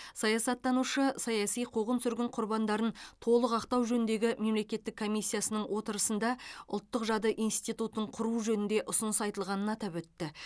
саясаттанушы саяси қуғын сүргін құрбандарын толық ақтау жөніндегі мемлекеттік комиссиясының отырысында ұлттық жады институтын құру жөнінде ұсыныс айтылғанын атап өтті